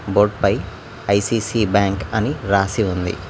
Board పై ICC bank అని రాసి ఉంది.